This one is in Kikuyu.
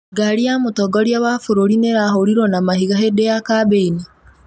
Ngari ya mũtongoria wa bũrũri nĩ ĩrahũrirwo na mahiga hĩndĩ ya kambĩini